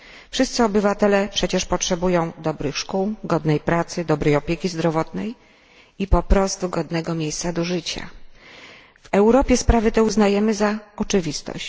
Wszyscy obywatele przecież potrzebują dobrych szkół, godnej pracy, dobrej opieki zdrowotnej i po prostu godnego miejsca do życia. W Europie sprawy te uznajemy za oczywistość.